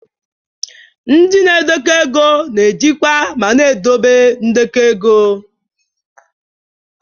Ndị na-edekọ ego na-ejikwa ma na-edobe ndekọ ego.